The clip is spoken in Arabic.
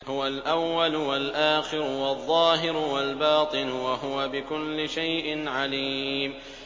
هُوَ الْأَوَّلُ وَالْآخِرُ وَالظَّاهِرُ وَالْبَاطِنُ ۖ وَهُوَ بِكُلِّ شَيْءٍ عَلِيمٌ